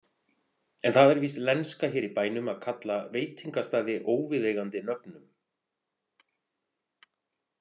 En það er víst lenska hér í bænum að kalla veitingastaði óviðeigandi nöfnum.